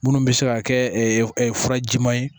Minnu bɛ se ka kɛ furaji ma ye